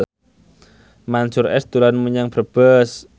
Mansyur S dolan menyang Brebes